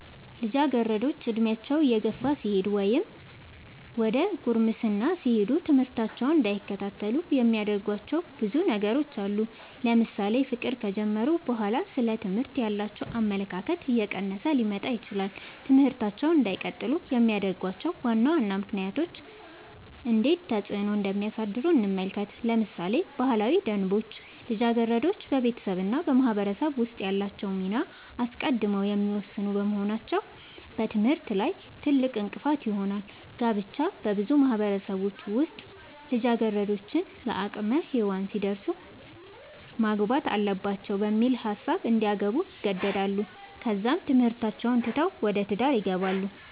ልጃገረዶች ዕድሜያቸው እየገፋ ሲሄድ ወይም ዘደ ጉርምስና ሲሄዱ ትምህርታቸውን እንዳይከታተሉ የሚያደርጉዋቸው ብዙ ነገሮች አሉ ለምሳሌ ፍቅር ከጀመሩ በኋላ ስለ ትምህርት ያላቸው አመለካከት እየቀነሰ ሊመጣ ይችላል ትምህርታቸውን እንዳይቀጥሉ የሚያደርጉዋቸው ዋና ዋና ምክንያቶች እንዴት ተፅዕኖ እንደሚያሳድሩ እንመልከት ለምሳሌ ባህላዊ ደንቦች ልጃገረዶች በቤተሰብ እና በማህበረሰብ ውስጥ ያላቸውን ሚና አስቀድመው የሚወስኑ በመሆናቸው በትምህርታቸው ላይ ትልቅእንቅፋት ይሆናል። ጋብቻ- በብዙ ማህበረሰቦች ውስጥ ልጃገረዶች ለአቅመ ሄዋን ሲደርሱ ማግባት አለባቸው በሚል ሀሳብ እንዲያገቡ ይገደዳሉ ከዛም ትምህርታቸውን ትተው ወደ ትዳር ይገባሉ።